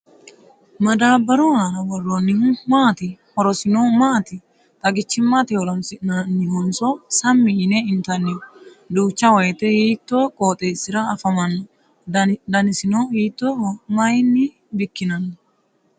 Madaabbaru aana worroonnihu maati? Horosino maati? Xagichimmate horonsi'nannihonso sammi yine intanniho? Duucha woyite hiittoo qooxeessira afamanno? Danasino hiittooho? Mayinni bikkinanni?